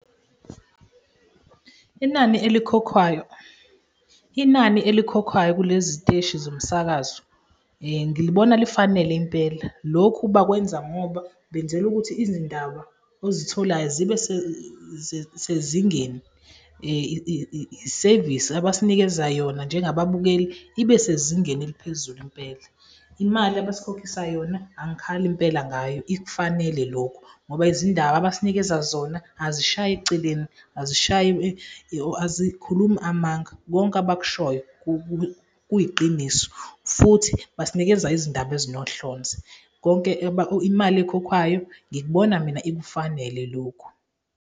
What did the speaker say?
Inani elikhokhwayo inani elikhokhwayo kulezi ziteshi zomsakazo ngilibona lifanele impela. Lokhu bakwenza ngoba benzela ukuthi izindaba ozitholayo zibe sezingeni, isevisi abasinikeza yona njengababukeli ibe sezingeni eliphezulu impela. Imali abasikhokhisa yona angikhali impela ngayo, ikufanele lokhu ngoba izindaba abasinikeza zona azishayi eceleni, azikhulumi amanga, konke abakushoyo kuyiqiniso futhi basinikeza izindaba ezinohlonze. Imali ekhokhwayo ngikubona mina ikufanele lokhu.